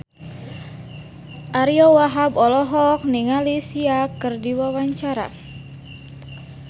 Ariyo Wahab olohok ningali Sia keur diwawancara